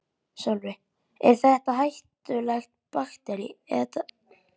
Sölvi: Er þetta hættuleg baktería?